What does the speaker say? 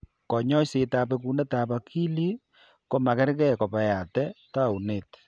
Kanyoisetab bekunetab akilit ko magergee kobeate taunet.